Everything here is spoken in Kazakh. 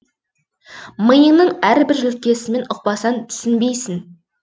миыңның әрбір жүлкесімен ұқпасаң түсінбейсің